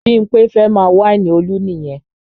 Bímpé fẹ́ máa wáìnì Olú nìyẹn